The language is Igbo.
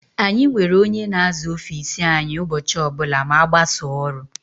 Anyị nwere ónyé na-aza ọffici anyị ụbọchị ọbula ma agbasaaa ọrụ.